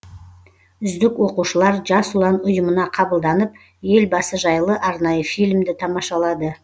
үздік оқушылар жас ұлан ұйымына қабылданып елбасы жайлы арнайы фильмді тамашалады